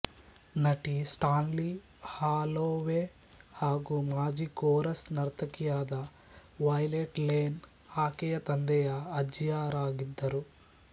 ನಟಿ Stanley Holloway ಹಾಗೂ ಮಾಜಿ ಕೋರಸ್ ನರ್ತಕಿಯಾದ ವೈಲೆಟ್ ಲೇನ್ ಆಕೆಯ ತಂದೆಯ ಅಜ್ಜಿಯರಾಗಿದ್ದರು